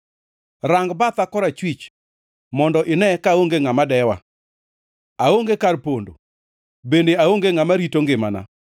Rang batha korachwich; mondo ine kaonge ngʼama dewa. Aonge kar pondo; bende aonge ngʼama rito ngimana.